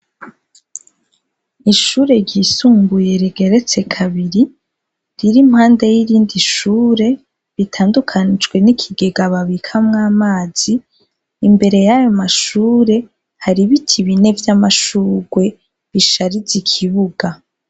Ishure ryisumbuye rigeretse kabiri, riri impande y'irindi shure ritandukanijwe n'ikigega babikamwo amazi, imbere y'ayo mashure hari ibiti bine vy'amashurwe, bishariza ikibuga.